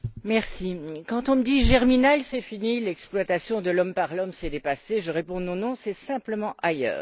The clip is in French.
Madame la Présidente, quand on me dit Germinal, c'est fini l'exploitation de l'homme par l'homme, c'est dépassé, je réponds Non, non, c'est simplement ailleurs.